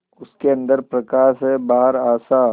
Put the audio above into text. उसके अंदर प्रकाश है बाहर आशा